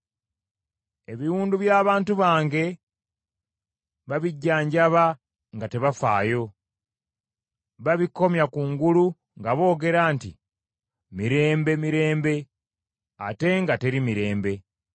Ebiwundu by’abantu bange babijjanjaba nga tebafaayo, babikomya kungulu nga boogera nti, Mirembe, Mirembe, ate nga teri mirembe.